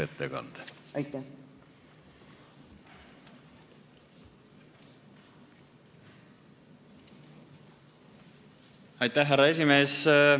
Härra esimees!